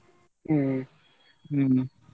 ಹ್ಮ್ ಹ್ಮ್.